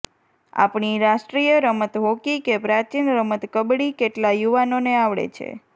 આપણી રાષ્ટ્રીય રમત હોકી કે પ્રાચીન રમત કબડ્ડી કેટલા યુવાનોને આવડે છે